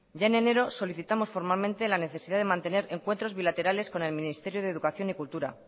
ya en enero solicitamos formalmente la necesidad de mantener encuentros bilaterales con el ministerio de educación y cultura